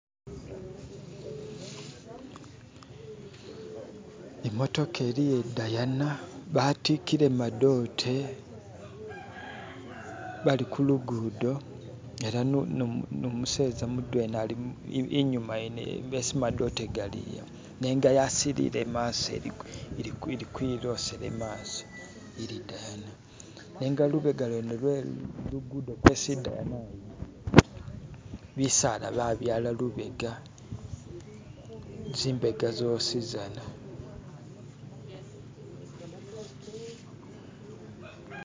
Imotoka iliyo i'Daina batikile madote bali kulugudo ela nomuseza mudwena ali yene iyo isi madote gali nenga yasilile maso ili kwilosela imaso ili dani nenga lubega lwene lwe lugudo kwesi i'Diana ili bisala byabala lubega zimbega zosi zana.